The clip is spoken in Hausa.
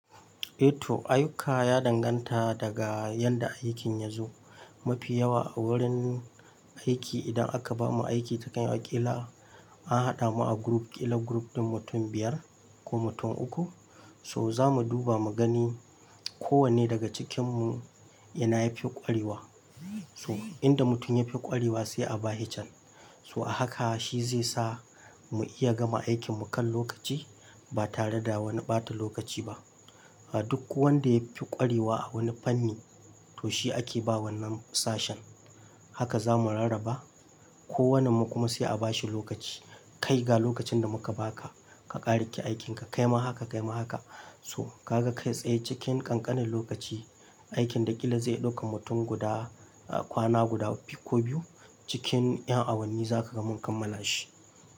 Eh to ayyuka ya danganta daga yadda aikin ya zo. Mafi yawa a wurin aiki idan aka bamu aiki ta kan ƙila an haɗa mu a group ƙila group ɗin mutum biyar ko mutum uku so za mu duba mu gani kowanne daga cikinmu ina yafi ƙwarewa. So in da mutum yafi ƙwarewa sai a ba shi chan. So a haka shi zai sa mu iya gama aikin mu kan lokaci ba tare da wani ɓata lokaci ba. A duk wanda yafi ƙwarewa a wani fanni to shi ake bawa nan sashen. Haka za mu rarraba kowannen mu kuma sai a bashi lokaci. Kai ga lokacin da muka baka ka ƙara ki aikinka kaima haka kaima haka so ka ga kai tsaye cikin ƙanƙanin lokaci aikin da ƙila zai ɗauki mutum guda kwana guda ko biyu cikin ƴan awanni zaka gama kammala shi.